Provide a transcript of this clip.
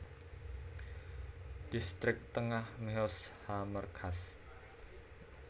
Dhistrik Tengah Mehoz HaMerkaz